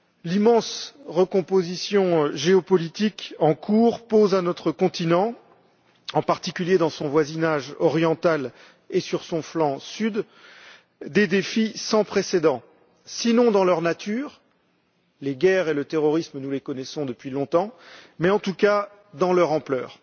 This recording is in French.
L'immense recomposition géopolitique en cours pose à notre continent, en particulier dans son voisinage oriental et sur son flanc sud, des défis sans précédent, sinon dans leur nature les guerres et le terrorisme, nous les connaissons depuis longtemps mais, en tout cas, dans leur ampleur.